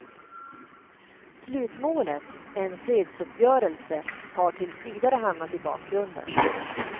Slutmålet, en fredsuppgörelse, har tills vidare hamnat i bakgrunden.